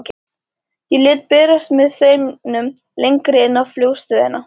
Ég læt berast með straumnum lengra inn í flugstöðina.